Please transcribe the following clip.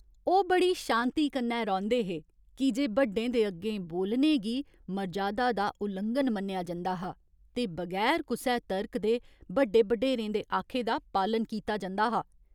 ओह् बड़ी शांति कन्नै रौंह्‌दे हे की जे बड्डें दे अग्गें बोलने गी मर्जादा दा उलंघन मन्नेआ जंदा हा ते बगैर कुसै तर्क दे बड्डे बडेरें दे आखे दा पालन कीता जंदा हा।